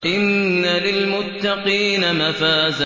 إِنَّ لِلْمُتَّقِينَ مَفَازًا